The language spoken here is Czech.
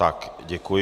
Tak, děkuji.